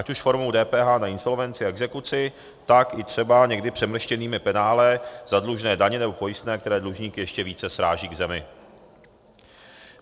Ať už formou DPH na insolvenci a exekuci, tak i třeba někdy přemrštěnými penále za dlužné daně nebo pojistné, které dlužníky ještě více sráží k zemi.